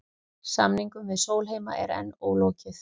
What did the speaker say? Samningum við Sólheima er enn ólokið